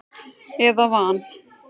eða van.